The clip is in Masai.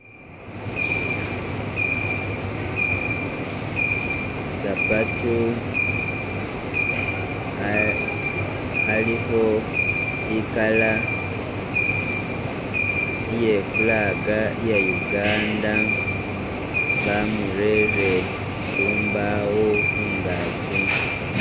Sapatu alikho i'color iye flag iya Uganda bamurere khumbaawo khungagi.